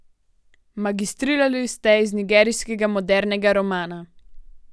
Magistrirali ste iz nigerijskega modernega romana.